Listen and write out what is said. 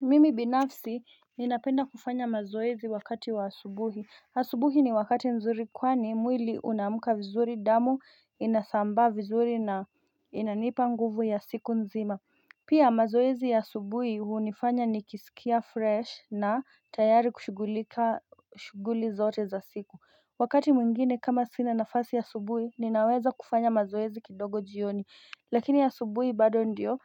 Mimi binafsi ninapenda kufanya mazoezi wakati wa asubuhi asubuhi ni wakati nzuri kwani mwili unamuka vizuri damu inasamba vizuri na inanipa nguvu ya siku nzima Pia mazoezi ya asubuhi hunifanya nikisikia freshi na tayari kushughulika shughuli zote za siku Wakati mwingine kama sina nafasi ya asubuhi ninaweza kufanya mazoezi kidogo jioni lakini asubuhi bado ndio